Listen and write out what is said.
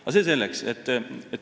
Aga see selleks.